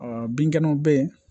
binkɛnɛw bɛ ye